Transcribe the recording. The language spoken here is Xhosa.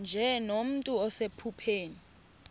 nje nomntu osephupheni